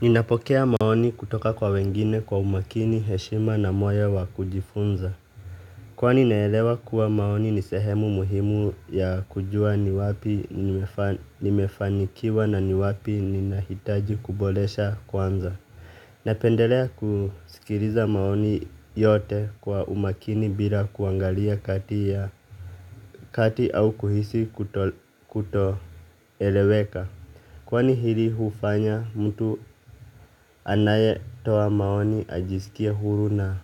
Ninapokea maoni kutoka kwa wengine kwa umakini, heshima na moyo wa kujifunza. Kwani naelewa kuwa maoni ni sehemu muhimu ya kujua ni wapi nimefanikiwa na ni wapi ni nahitaji kuboresha kwanza. Napendelea kusikiliza maoni yote kwa umakini bila kuangalia kati au kuhisi kutoeleweka. Kwani hili hufanya mtu anayetoa maoni ajisikie huru na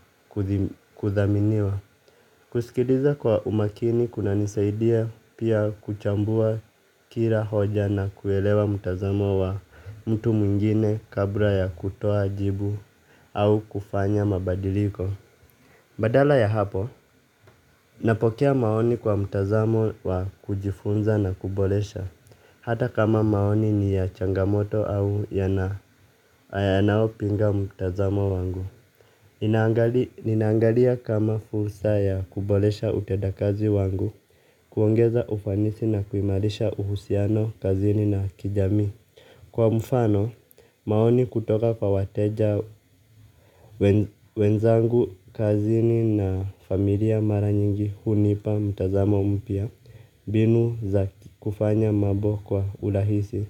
kuthaminiwa. Kusikiliza kwa umakini kunanisaidia pia kuchambua kila hoja na kuelewa mtazamo wa mtu mwingine kabla ya kutoa jibu au kufanya mabadiliko. Badala ya hapo, napokea maoni kwa mtazamo wa kujifunza na kuboresha. Hata kama maoni ni ya changamoto au yana yanayo pinga mtazamo wangu. Ninaangalia kama fursa ya kuboresha utedakazi wangu. Kuongeza ufanisi na kuimarisha uhusiano kazini na kijami. Kwa mfano, maoni kutoka kwa wateja wenzangu kazini na familia mara nyingi hunipa mtazamo mpya mbinu za kufanya mambo kwa urahisi.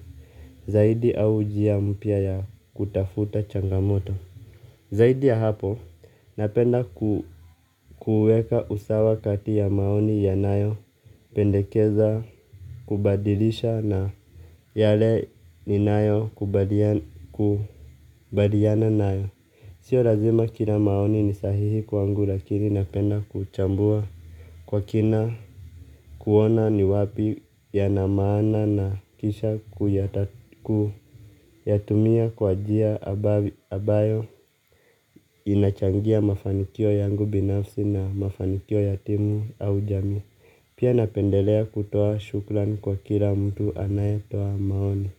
Zaidi au njia mpya ya kutafuta changamoto zaidi ya hapo, napenda kuuweka usawa kati ya maoni yanayo pendekeza, kubadilisha na yale ni nayo kubaliana nayo. Sio lazima kila maoni ni sahihi kwangu lakini napenda kuchambua. Kwa kina kuona ni wapi yana maana na kisha kuyatumia kwa njia ambayo inachangia mafanikio yangu binafsi na mafanikio ya timu au jamii. Pia napendelea kutoa shukran kwa kila mtu anayetoa maoni.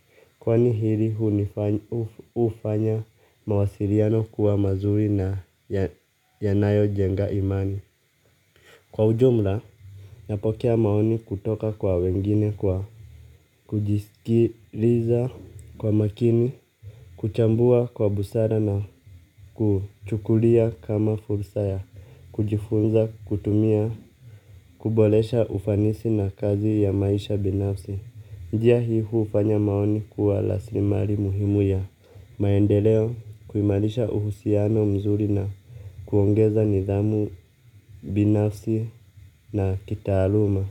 Kwani hili hunifanya hufanya mawasiliano kuwa mazuri na yanayo jenga imani. Kwa ujumla, napokea maoni kutoka kwa wengine kwa kujisikiliza kwa makini, kuchambua kwa busara na kuchukulia kama fursa ya, kujifunza kutumia, kuboresha ufanisi na kazi ya maisha binafsi. Njia hii hufanya maoni kuwa rasilimali muhimu ya maendeleo kuimarisha uhusiano mzuri na kuongeza nidhamu binafsi na kitaaluma.